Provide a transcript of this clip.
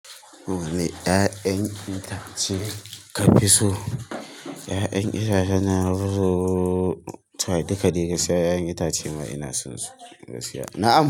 Wane 'ya'yan itace ka fi so? 'Ya'yan itacen da nafiso to dukadaiga, skiya 'ya'yan itace ma ina son su gaskiya. Na'am.